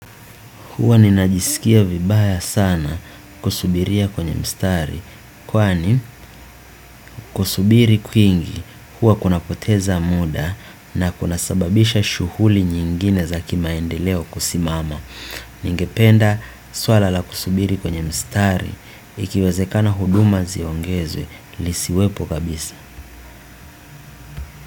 Huwa ninajisikia vibaya sana kusubiria kwenye mstari kwani kusubiri kwingi huwa kunapoteza muda na kunasababisha shughuli nyingine za kimaendeleo kusimama. Ningependa swala la kusubiri kwenye mstari ikiwezekana huduma ziongezwe lisiwepo kabisa.